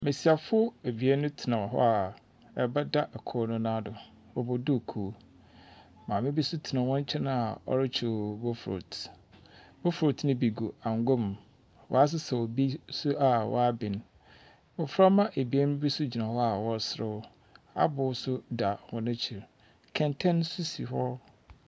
Mmesiafo mienu bi tena hɔ a ɛba da ɔkoro nan do, ɔbɔ duukuu. Maame bi nso tena wɔn nkyɛn a ɔrekyew bofulotu. Bofulotu no bi gu angwam. Wɔsesaw bi nso a wɔaben. Mmɔframma ebien bi nso gyina hɔ a wɔresre . Aboo nso da hɔn akyir kɛntɛn nso si hɔ.